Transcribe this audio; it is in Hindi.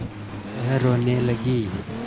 वह रोने लगी